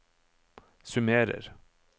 summerer